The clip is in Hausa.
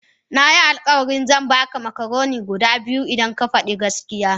Nayi alkawari zan baka macaroni guda biyu idan ka fadi gaskiya